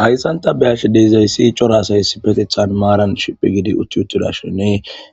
Hayssan ta beyashe dizayssi cora asay maaran shiphi shiphi giuttidashenne